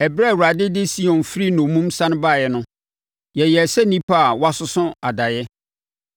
Ɛberɛ a Awurade de Sion firi nnommum sane baeɛ no, yɛyɛɛ sɛ nnipa a wɔasoso adaeɛ.